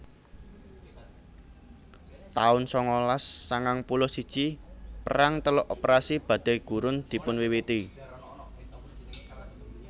taun sangalas sangang puluh siji Perang Teluk Operasi Badai Gurun dipunwiwiti